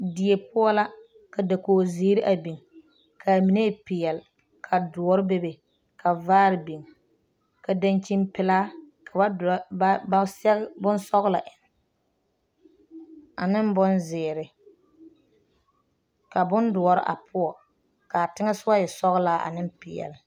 Die poɔ la ka dakori zeɛre a biŋ, kaa mine e pɛɛle, ka doɔre bebe ka vaare biŋ ka daŋkyine pɛlaa ka ba sɛge. bonsɔglɔ. eŋe ane bonzeɛre ka bon doɔre a poɔ ka teŋɛ sɔɔ e sɔglaa ane pɛlaa.